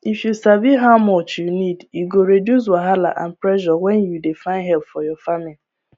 if you sabi how much you need e go reduce wahala and pressure when you dey find help for your farming